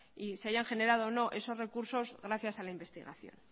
y se hayan generado o no gracias a la investigación